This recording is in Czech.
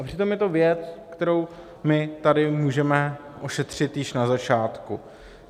A přitom je to věc, kterou my tady můžeme ošetřit již na začátku.